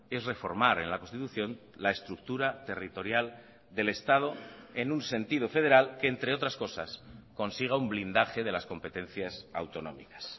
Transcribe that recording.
es reformar en la constitución la estructura territorial del estado en un sentido federal que entre otras cosas consiga un blindaje de las competencias autonómicas